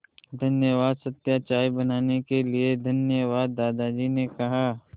धन्यवाद सत्या चाय बनाने के लिए धन्यवाद दादाजी ने कहा